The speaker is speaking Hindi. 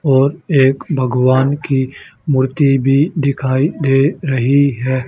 और एक भगवान की मूर्ति भी दिखाई दे रही है।